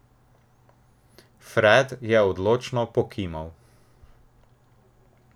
Fred je odločno pokimal.